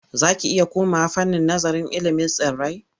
Za ki iya komawa fannin nazararil ilimin tsirrai.